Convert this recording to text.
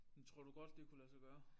Men tror du godt det kunne lade sig gøre?